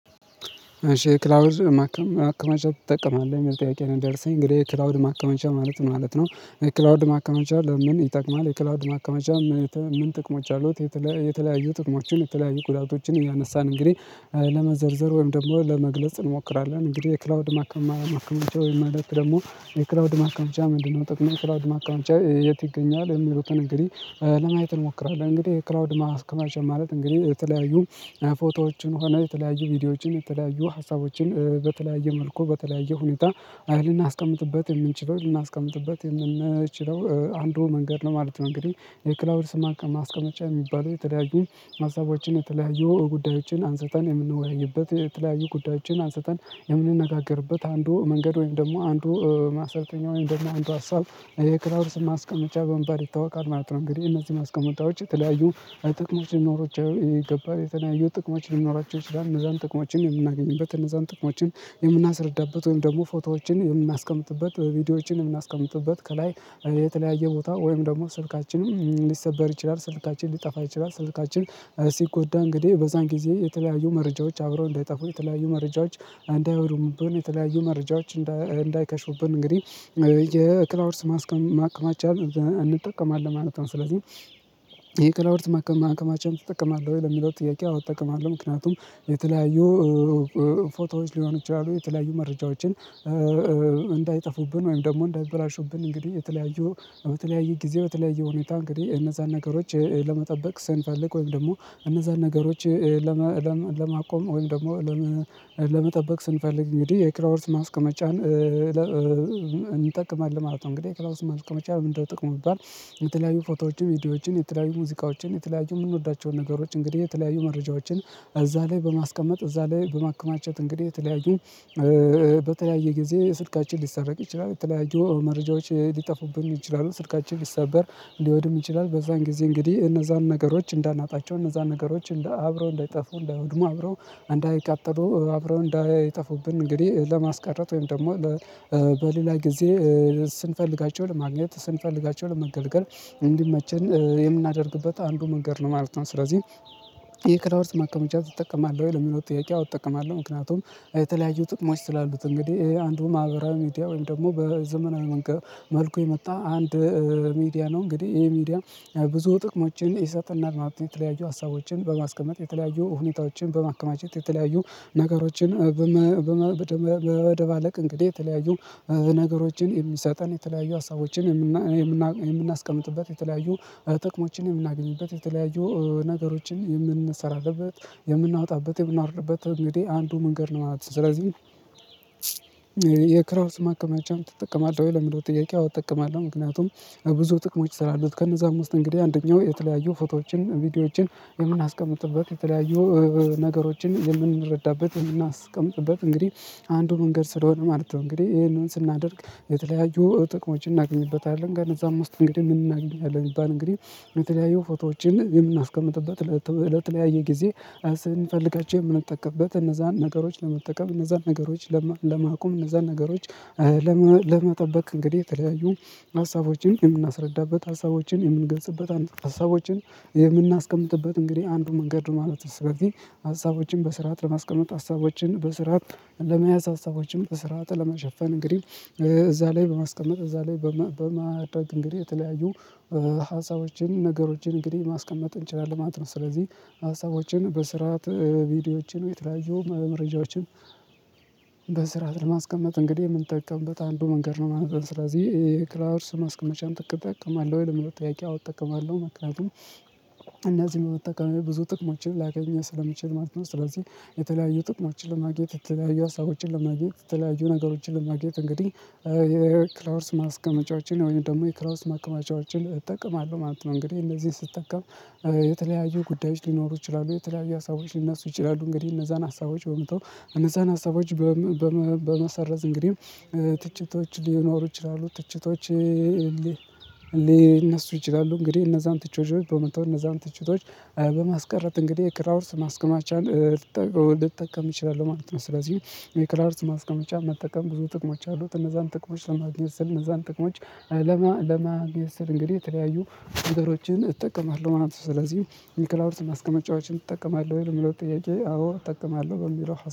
እሺ ክላውድ ማከመቻ ትጠቀማለህ የሚል ጥየቄ ነው። የደረሰኝ እንግዲህ ክላውድ ማከማቻ ማለት ምን ማለት ነው? የክላውድ ማከማቻ ለምን ይጠቅማል? የክላውድ ማከመቻ ምን ጥቅሞች አሉት? የተለያዩ ጥቅሞችን የተለያዩ ጉዳቶችን እያነሳን እንግዲህ ለመዘርዘር ወይም ደግሞ ለመግለጽ እንሞክራለን። እንግዲህ የክላውድ ማከማማከማቻ ወይም ማለት ደግሞ የክላውድ ማከማቻ ምንድነው? ጥቅሙ ክላውድ ማካመቻ የት ይገኛል? የሚሉትን እንግዲህ ለማየት እንሞክራለን። እንግዲህ የክላውድ ማከማቻ ማለት እንግዲህ የተለያዩ ፎቶዎችን ሆነ የተለያዩ ቪዲዮዎችን የተለያዩ ሀሳቦችን በተለያየ መልኩ በተለያየ ሁኔታ አይልና አስቀምጥበት የምንችለው ልናስቀምጥበት የምንችለው አንድ መንገድ ነው ማለት ነው። እንግዲህ የክላውድስ ማስቀመጫ የሚባለው የተለያዩ ሀሳቦችን የተለያዩ ጉዳዮችን አንስተን የምንወያይበት የተለያዩ ጉዳዮችን አንስተን የምንነጋገርበት አንዱ መንገድ ወይም ደግሞ አንዱ ማሰልጠኛ ወይም ደግሞ አንዱ ሀሳብ የክላውድስን ማስቀመጫ በመባል ይታወቃል ማለት ነው። እንግዲህ እነዚህ ማስቀመጫዎች የተለያዩ ጥቅሞች ሊኖሯቻው ይገባል የተለያዩ ጥቅሞች ሊኖሯቸው ይችላልእነዛን ጥቅሞችን የምናገኝበት እነዛን ጥቅሞችን። የምናስረዳበት ወይም ደግሞ ፎቶዎችን የምናስቀምጥበት ቪዲዮዎችን የምናስቀምጥበት ከላይ የተለያየ ቦታ ወይም ደግሞ ስልካችንም ሊሰበር ይችላል ስልካችን ሊጠፋ ይችላል ስልካችን ሲጎዳ እንግዲህ በዛን ጊዜ የተለያዩ መረጃዎች አብረው እንዳይጠፉ የተለያዩ መረጃዎች አንዳይሆኑምብን የተለያዩ መረጃዎች እንዳይከሽፉብን እንግዲህ የክላውድስ ማስቅማከማቻ እንጠቀማለን ማለት ነው። ስለዚህ የክላውድስ ማክማከማቻን ትጠቀማለህ ወይ ለሚለው ጥያቄ አዎ እጠቀማለሁ። ምክንያቱም የተለያዩ ፎቶዎች ሊሆኑ ይችላሉ የተለያዩ መረጃዎችን እንዳይጠፉብን ወይም ደግሞ እንዳይበላሹብን እንግዲህ የተለያዩ በተለያየ ጊዜ በተለያየ ሁኔታ እንግዲህ እነዛን ነገሮች ለመጠበቅ ስንፈልግ ወይም ደግሞ እነዛን ነገሮች ለማቆም ወይም ደግሞ ለመጠበቅ ስንፈልግ እንግዲህ የክላውድስ ማስቀመጫን እንጠቅማለን ማለት ነው። እንግዲህ ከላውስት መልኩ መቻል ምንድነው? ጥቅም የሚባል የተለያዩ ፎቶዎችን ቪዲዮዎችን የተለያዩ ሙዚቃዎችን የተለያዩ የምንወዳቸውን ነገሮች እንግዲህ የተለያዩ መረጃዎችን እዛ ላይ በማስቀመጥ እዛ ላይ በማከማቸት እንግዲህ የተለያዩ በተለያየ ጊዜ ስልካችን ሊሰረቅ ይችላል። የተለያዩ መረጃዎች ሊጠፉብን ይችላሉ። ስልካችን ሊሰበር ሊወድም ይችላል። በዛን ጊዜ እንግዲህ እነዛን ነገሮች እንዳናጣቸው እነዛን ነገሮች አብረው እንዳይጠፉ እንዳይወድሙ አብረው እንዳይቃጠሉ አብረው እንዳይጠፉብን እንግዲህ ለማስቀረት ወይም ደግሞ በሌላ ጊዜ ስንፈልጋቸው ለማግኘት ስንፈልጋቸው ለመገልገል እንዲመችን የምናደርግበት አንዱ መንገድ ነው ማለት ነው። ስለዚህ ይሄ ክላውድስ ማከመቻ ትጠቀማለህ ወይ? ለሚለው ጥያቄ አዎ እጠቀማለሁ። ምክንያቱም የተለያዩ ጥቅሞች ስላሉት እንግዲህ አንዱ ማህበራዊ ሚዲያ ወይም ደግሞ በዘመናዊ መንገድ መልኩ የመጣ አንድ ሚዲያ ነው። እንግዲህ ይሄ ሚዲያ ብዙ ጥቅሞችን ይሰጠናል ማለት ነው። የተለያዩ ሀሳቦችን በማስቀመጥ የተለያዩ ሁኔታዎችን በማከማቸት የተለያዩ ነገሮችን በመደባለቅ እንግዲህ የተለያዩ ነገሮችን የሚሰጠን የተለያዩ ሀሳቦችን የምናስቀምጥበት የተለያዩ ጥቅሞችን የምናገኝበት የተለያዩ ነገሮችን የምንሰራለበት የምናወጣበት የምናወርድበት እንግዲህ አንዱ መንገድ ነው ማለት ነው። ስለዚህ የክላውድስ ማከማቻን ትጠቀማለህ ወይ? ለሚለው ጥያቄ አዎን እጠቀማለሁ። ምክንያቱም ብዙ ጥቅሞች ስላሉት ከነዛ አምስት እንግዲህ አንደኛው የተለያዩ ፎቶዎችን ቪዲዮዎችን የምናስቀምጥበት የተለያዩ ነገሮችን የምንረዳበት የምናስቀምጥበት እንግዲህ አንዱ መንገድ ስለሆነ ማለት ነው። እንግዲህ ይሄንን ስናደርግ የተለያዩ ጥቅሞችን እናገኝበታለን። ግን እዛም ውስጥ እንግዲህ ምን እናገኝበታለን ይባል እንግዲህ በተለያዩ ፎቶዎችን የምናስቀምጥበት ለተለያየ ጊዜ ስንፈልጋቸው የምንጠቀምበት እነዛን ነገሮች ለመጠቀም እነዛን ነገሮች ለማቆም እነዛን ነገሮች ለመጠበቅ እንግዲህ የተለያዩ ሀሳቦችን የምናስረዳበት ሀሳቦችን የምንገልጽበት ሀሳቦችን የምናስቀምጥበት እንግዲህ አንዱ መንገድ ማለት ነው። ስለዚህ ሀሳቦችን በስርዓት ለማስቀመጥ ሀሳቦችን በስርዓት ለመያዝ ሀሳቦችን በስርዓት ለመሸፈን እንግዲህ እዛ ላይ በማስቀመጥ እዛ ላይ በማድረግ እንግዲህ የተለያዩ ሀሳቦችን ነገሮችን እንግዲህ ማስቀመጥ እንችላለን ማለት ነው። ስለዚህ ሀሳቦችን በስርዓት ቪዲዮዎችን የተለያዩ መረጃዎችን በስርዓት ለማስቀመጥ እንግዲህ የምንጠቀምበት አንዱ መንገድ ነው ማለት ነው። ስለዚህ ክላውድስ ማስቀመጫን ትቅትጠቀማለህ ለሚለው ጥያቄ? አዎ እጠቀማለሁ። ምክንያቱም እነዚህን መጠቀሚያ ብዙ ጥቅሞችን ላገኝ ስለምችል ማለት ነው። ስለዚህ የተለያዩ ጥቅሞችን ለማግኘት የተለያዩ ሀሳቦችን ለማግኘት የተለያዩ ነገሮችን ለማግኘት እንግዲህ የክላውድስ ማስቀመጫዎችን ወይም ደግሞ የክላውድስ ማካማቻዎችን እጠቅማለሁ ማለት ነው። እንግዲህ እነዚህን ስጠቀም የተለያዩ ጉዳዮች ሊኖሩ ይችላሉ። የተለያዩ ሀሳቦች ሊነሱ ይችላሉ። እንግዲህ እነዛን ሀሳቦች በመተው እነዛን ሀሳቦች በመሰረዝ እንግዲህ ትችቶች ሊኖሩ ይችላሉ ትችቶች ሊነሱ ይችላሉ እንግዲህ እነዛን ትችቶች በመተው እነዛን ትችቶች በማስቀረት እንግዲህ የክላውድስ ማስቀማቻን ልጠቀም እችላለሁ ማለት ነው። ስለዚህ የክላውድስ ማስቀመጫ መጠቀም ብዙ ጥቅሞች አሉት። እነዛን ጥቅሞች ለማግኘት ስር እነዛን ጥቅሞች ለማግኘት ስል እንግዲህ የተለያዩ ነገሮችን እጠቀማለሁ ማለት ነው። ስለዚህ የክላውድስ ማስቀመጫዎችን እጠቀማለህ ወይ ለሚለው ጥያቄ? አዎ እጠቀማለሁ። በሚለው